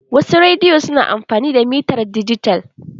Wasu rediyo su na amfani da mitar dijital.